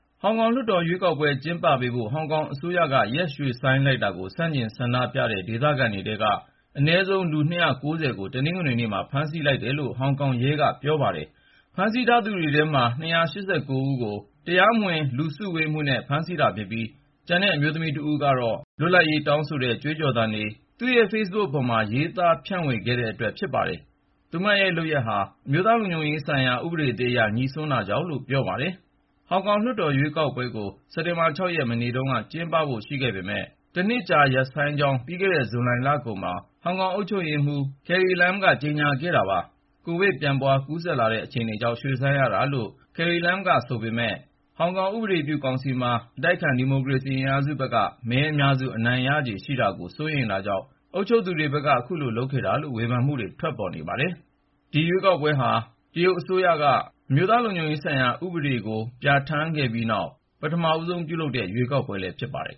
ဟောင်ကောင်လွှတ်တော် ရွေးကောက်ပွဲတွေ ကျင်းပပေးဖို့ ဟောင်ကောင်အစိုးရက ရွှေ့ဆိုင်းလိုက်တာကို ဆန့်ကျင် ဆန္ဒပြခဲ့ကြတဲ့ ဒေသခံတွေထဲက အနည်းဆုံး လူ ၂၉၀ ကို တနင်္ဂနွေနေ့မှာ ဖမ်းဆီးလိုက်တယ်လို့ ဟောင်ကောင်ရဲက ပြောပါတယ်။ ဖမ်းဆီးထားသူတွေထဲမှာ ၂၈၉ ဦးကို တရားမဝင် လူစုဝေးမှုနဲ့ ဖမ်းဆီးတာဖြစ်ပြီး ကျန်တဲ့ အမျိုးသမီး ၁ ဦးကိုတော့ လွတ်လပ်ရေးတောင်းဆိုတဲ့ ကြွေးကြော်သံတွေနဲ့ ဆန့်ကျင်စော်ကားတဲ့အတွက် ဖမ်းဆီးခဲ့တာလို့ ရဲက အကြောင်းပြချက် ပေးပါတယ်။ သူမရဲ့လုပ်ရပ်ဟာ အမျိုးသားလုံခြုံရေးဆိုင်ရာ ဥပဒေသစ်အရ ငြိစွန်းတာကြောင့်လို့လည်း ပြောပါတယ်။ ဟောင်ကောင်လွှတ်တော် ရွေးကောက်ပွဲကို စက်တင်ဘာ ၆ ရက် မနေ့တုန်းက ကျင်းပဖို့ ရှိခဲ့ပေမယ့် တနှစ်ကြာ ရပ်ဆိုင်းကြောင်း ပြီးခဲ့တဲ့ ဇူလိုင်လကုန်မှာ ဟောင်ကောင်အုပ်ချုပ်ရေးမှူး Carrie Lam က ကြေညာခဲ့ပါတယ်။ ကိုဗစ် ပြန့်ပွားကူးစက်လာနေတဲ့ အခြေအနေကြောင့် ရွှေ့ဆိုင်းရတာလို့ Carrie Lam ဘက်က ပြောနေပေမယ့် ဟောင်ကောင်ဥပဒေပြုကောင်စီမှာ အတိုက်အခံ ဒီမိုကရေစီ အင်အားစုဘက်က မဲအများစု အနိုင်ရခြေရှိတာကို စိုးရိမ်တာကြောင့် အခုလိုလုပ်တာဆိုတဲ့ ဝေဖန်မှုတွေလည်း ထွက်ပေါ်နေပါတယ်။ ဒီရွေးကောက်ပွဲဟာ တရုတ်အစိုးရက ဟောင်ကောင်အတိုက်အခံတွေကို ဖယ်ရှားဖို့ ရည်ရွယ်ထားတဲ့ အမျိုးသားလုံခြုံရေးဥပဒေကို ဇွန်လနှောင်းပိုင်း ပြဋ္ဌာန်းခဲ့ပြီးနောက် ပထမဆုံးလုပ်မယ့် ရွေးကောက်ပွဲလည်း ဖြစ်ပါတယ်